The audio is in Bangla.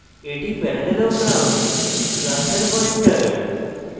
এটি parallelogram class পয়েন্টার